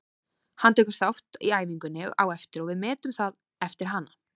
Hann tekur þátt í æfingunni á eftir og við metum það eftir hana.